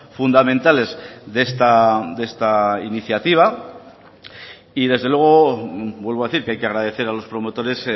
fundamentales de esta iniciativa y desde luego vuelvo a decir que hay que agradecer a los promotores